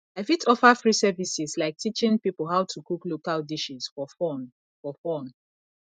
i fit offer free services like teaching people how to cook local dishes for fun for fun